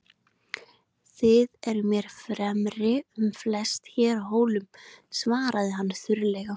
Þið eruð mér fremri um flest hér á Hólum, svaraði hann þurrlega.